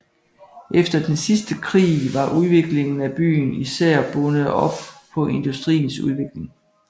Efter den sidste krig var udviklingen af byen især bundet op på industriens udvikling